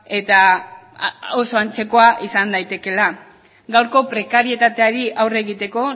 eta oso antzekoa izan daitekeela gaurko prekarietateari aurre egiteko